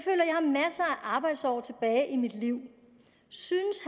har arbejdsår tilbage i mit liv synes